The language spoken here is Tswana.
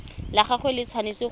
la gagwe le tshwanetse go